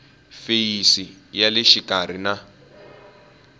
feyisi ya le xikarhi na